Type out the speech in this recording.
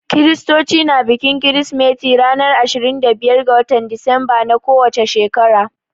Kiristoci na bikin kirsimeti ranar ashirin da biyar ga watan Disemba na ko wace shekara.